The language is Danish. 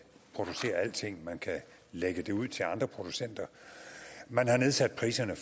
producere alting man kan lægge det ud til andre producenter man har nedsat priserne